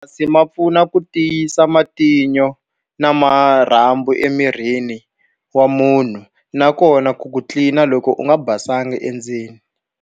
ma pfuna ku tiyisa matino na marhambu emirini wa munhu, nakona ku ku tlilina loko u nga basanga endzeni.